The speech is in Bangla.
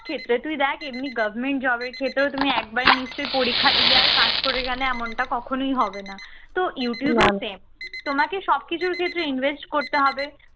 ক্ষেত্রে তুই দেখ এমনি government job এর ক্ষেত্রেও তুমি একবার নিশ্চয়ই পরীক্ষা দিলে আর pass করে গেলে এমনটা কখনোই হবে না তো youtube ও same তোমাকে সবকিছুর ক্ষেত্রে invest করতে হবে